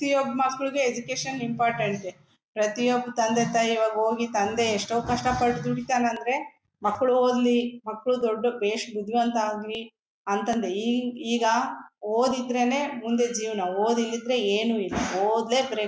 ಪ್ರತಿಯೊಬ್ಬ ಮಕ್ಕಳಿಗೆ education important ಪ್ರತಿಯೊಬ್ಬ ತಂದೆ ತಾಯಿ ಇವಾಗ ಹೋಗಿ ತಂದೆ ಎಷ್ಟೋ ಕಷ್ಟ ಪಟ್ಟು ದುಡಿತ್ತಾನೆ ಅಡ್ರೆ ಮಕ್ಕಳು ಓದ್ಲಿ ಮಕ್ಕಳು ಬೆಸ್ ಮಕ್ಕಳು ಬುದ್ದಿವಂತ ಆಗ್ಲಿ ಅಂತಂದೆ ಈ ಈಗ ಓದಿದ್ರೇನೇ ಮುಂದೆ ಜೀವನ ಓದ್ ಇಲ್ ಇದ್ರೆ ಏನು ಇಲ್ಲ ಓದ್ಲೇ ಬೇಕು .